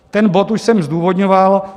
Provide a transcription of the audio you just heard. Ten bod už jsem zdůvodňoval.